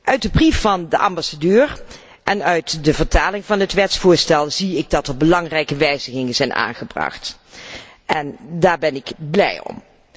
Uit de brief van de ambassadeur en uit de vertaling van het wetsvoorstel, constateer ik dat er belangrijke wijzigingen zijn aangebracht. Daar ben ik blij om.